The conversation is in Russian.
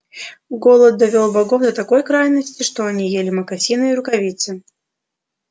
голод довёл богов до такой крайности что они ели мокасины и рукавицы